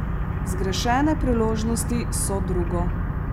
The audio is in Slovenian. Zgrešene priložnosti so drugo.